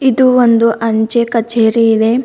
ಇದು ಒಂದು ಅಂಚೆ ಕಚೇರಿ ಇದೆ.